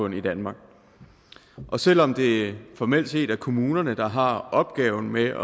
i danmark selv om det formelt set er kommunerne der har opgaven med